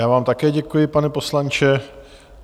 Já vám také děkuji, pane poslanče.